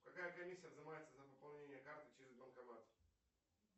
какая комиссия взымается за пополнение карты через банкомат